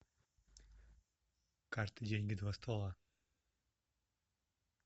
карты деньги два ствола